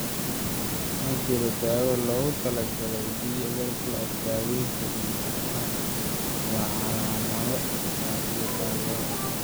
Ma jirto daawo loogu talagalay DRPLA; daawaynta guud ahaan waa calaamado iyo taageero.